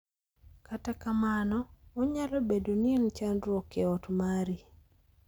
Kata kamano, onyalo bedo ni en chandruok e ot mari.